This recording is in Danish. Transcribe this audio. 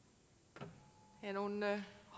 der er nogen